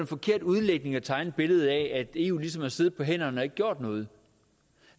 forkert udlægning at tegne et billede af at eu ligesom har siddet på hænderne og ikke gjort noget